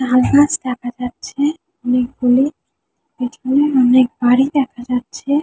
তালগাছ দেখা যাচ্ছে অনেকগুলো। পিছনে অনেক বাড়ি দেখা যাচ্ছে ।